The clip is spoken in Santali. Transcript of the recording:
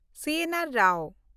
ᱥᱤ.ᱮᱱ.ᱟᱨ. ᱨᱟᱣ